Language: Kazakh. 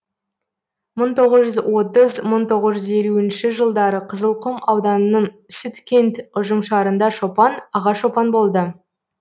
мың тоғыз жүз отыз мың тоғыз жүз елуінші жылдары қызылқұм ауданының сүткент ұжымшарында шопан аға шопан болды